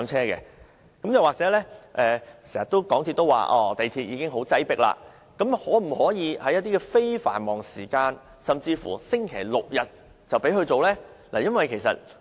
港鐵公司經常說港鐵已經很擠迫，但可否在非繁忙時間，甚至星期六、日，才讓動物乘搭？